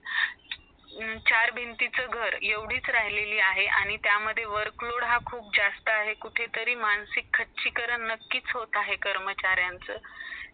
चार भिंतीचा घर एवडच राहिलेला आहे त्यामुळे work load खुप जसतीच झालेला आहे कुठतरी मानसिक खचक्री होत आहे कर्मचारीला त्यांचा